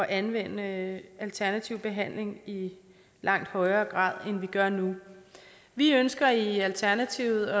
anvende alternativ behandling i langt højere grad end vi gør nu vi ønsker i alternativet